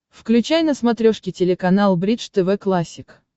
включай на смотрешке телеканал бридж тв классик